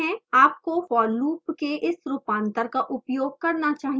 आपको for loop के इस रूपांतर का उपयोग करना चाहिए